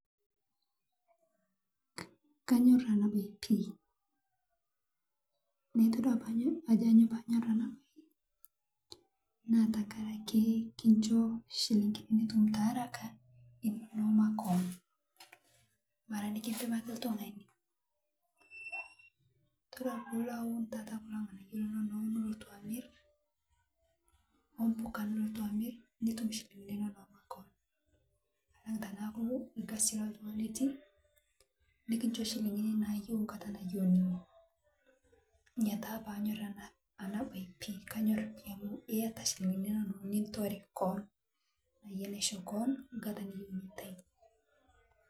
Kanyor anaa bayei pii, naa itodua ajo anyoo paanyor anaa bai naa tankarake kinshoo shiling'ini nutum taharaka inonoo makon, maraa nikisimaki ltung'ani todua piilo awun tataa kolo ng'anayoo linonoo nuloto amir ooh pokaa nulotoo amr nutum shilingini inonoo makoon alang' tanaku lkasi lotung'ani itii mikishoo shilingini nayeu nkataa nayeu nenye nyiaa taa paanyor anaa baye pii kanyor pii amuu eyataa shilingini inonoo nitore koon aah yei nashoo koon nkataa niyeu nintai .